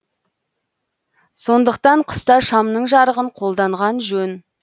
сондықтан қыста шамның жарығын қолданған жөн